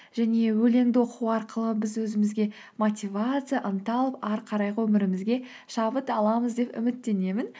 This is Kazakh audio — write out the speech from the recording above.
және өлеңді оқу арқылы біз өзімізге мотивация ынта алып ары қарайғы өмірімізге шабыт аламыз деп үміттенемін